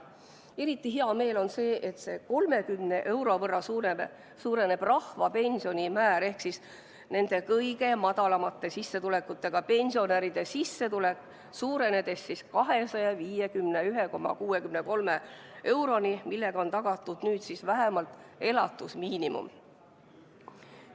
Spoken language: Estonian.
Eriti hea meel on selle üle, et 30 euro võrra suureneb rahvapensioni määr ehk siis kõige madalamate sissetulekutega pensionäride sissetulek, suurenedes 251,63 euroni, millega on nüüd tagatud vähemalt elatusmiinimum.